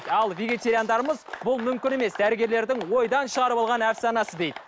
ал вегетариандарымыз бұл мүмкін емес дәрігерлердің ойдан шығарып алған әпсанасы дейді